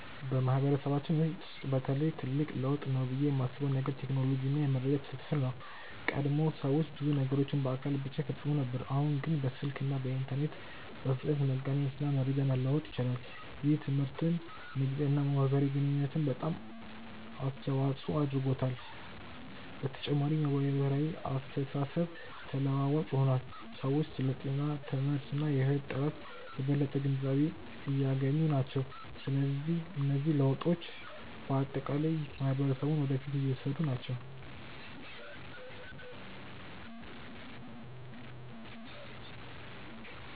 በማህበረሰባችን ውስጥ በተለይ ትልቅ ለውጥ ነው ብዬ የማስበው ነገር ቴክኖሎጂ እና የመረጃ ትስስር ነው። ቀድሞ ሰዎች ብዙ ነገሮችን በአካል ብቻ ይፈጽሙ ነበር፣ አሁን ግን በስልክ እና በኢንተርኔት በፍጥነት መገናኘት እና መረጃ መለዋወጥ ይችላሉ። ይህ ትምህርትን፣ ንግድን እና የማህበራዊ ግንኙነትን በጣም አስተዋፅኦ አድርጓል። በተጨማሪም የማህበራዊ አስተሳሰብ ተለዋዋጭ ሆኗል፤ ሰዎች ስለ ጤና፣ ትምህርት እና የህይወት ጥራት የበለጠ ግንዛቤ እያገኙ ናቸው። እነዚህ ለውጦች በአጠቃላይ ማህበረሰቡን ወደ ፊት እየወሰዱ ናቸው።